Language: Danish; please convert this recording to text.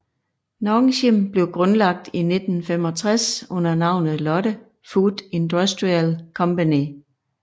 Nongshim blev grundlagt i 1965 under navnet Lotte Food Industrial Company